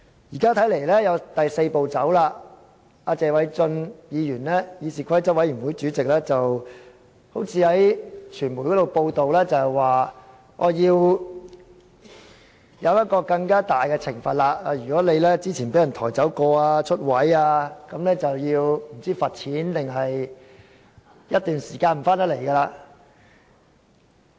現在看來還有第四步，謝偉俊議員是議事規則委員會主席，據傳媒報道，他好像說要制定更大的懲罰，若議員之前曾被抬走或離開座位等，便要罰款或在一段時間內不可回來出席會議。